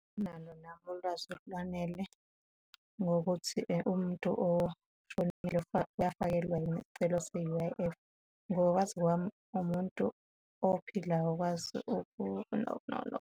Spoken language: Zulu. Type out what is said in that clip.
Angilano nami ulwazi olwanele ngokuthi umuntu oshonile uyafakelwa yini isicelo se-U_I_F. Ngokwazi kwami umuntu ophilayo okwazi .